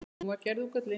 Hún var gerð úr gulli.